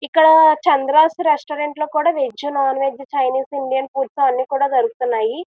ఇక్కడ చంద్ర రెస్టారెంట్లో కూడా veg non veg Chinese Indian foods అన్ని కూడా దొరుకుతున్నాయి.